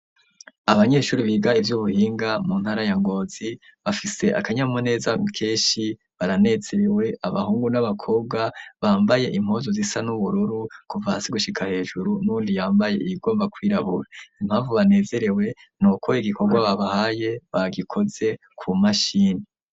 Abanyeshure biga ivy'ubuhinga mu ntara ya Ngozi, bafise akanyamuneza kenshi baranezerewe abahungu n'abakobwa, bambaye impuzu zifise ibara ry'ubururu kuva hasi gushika hejuru, n'uwundi yambaye iyigomba kwirabura. Impamvu banezerewe ni uko igikorwa babahaye bagikoze ku mashini.